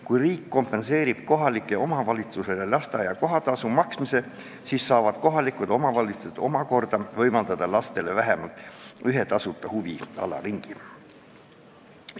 Kui riik kompenseerib kohalikule omavalitsusele lasteaia kohatasu maksmise, siis saavad omavalitsused omakorda võimaldada lastele vähemalt ühe tasuta huviringi.